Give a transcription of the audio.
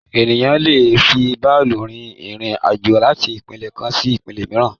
Ènìyàn lé è fi bàálù rin irin-àjò láti ìpínlẹ̀ kan sí ìpínlẹ̀ mìíràn